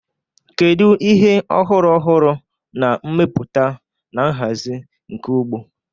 Kedu ihe ọhụrụ ọhụrụ na mmepụta na nhazi nke ugbo?